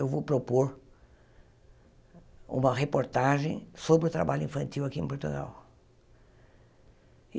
Eu vou propor uma reportagem sobre o trabalho infantil aqui em Portugal.